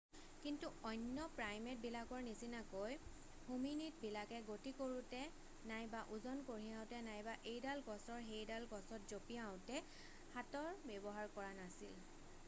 কিন্তু অন্য প্ৰাইমেটবিলাকৰ নিচিনাকৈ হোমিনিদবিলাকে গতি কৰোঁতে নাইবা ওজন কঢ়িয়াওঁতে নাইবা এইডাল গছৰ সেইডাল গছত জঁপিয়াওঁতে হাতৰ ব্যৱহাৰ কৰা নাছিল